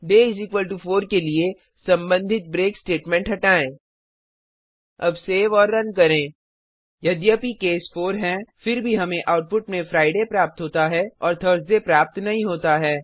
day 4 के लिए संबंधित ब्रेक स्टेटमेंट हटायें अब सेव और रन करें यद्यपि केस 4 हैं फिर भी हमें आउटपुट में Fridayशुक्रवार प्राप्त होता है और Thursdayगुरूवार प्राप्त नहीं होता है